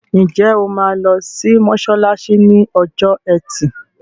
Ǹjẹ́ o máa lọ sí mọ́ṣáláṣí ní ọjọ́ ẹtì?